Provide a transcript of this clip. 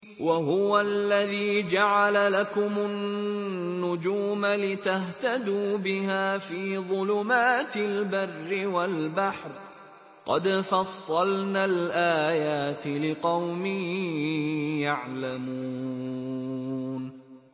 وَهُوَ الَّذِي جَعَلَ لَكُمُ النُّجُومَ لِتَهْتَدُوا بِهَا فِي ظُلُمَاتِ الْبَرِّ وَالْبَحْرِ ۗ قَدْ فَصَّلْنَا الْآيَاتِ لِقَوْمٍ يَعْلَمُونَ